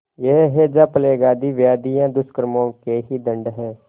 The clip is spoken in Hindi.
यह हैजाप्लेग आदि व्याधियाँ दुष्कर्मों के ही दंड हैं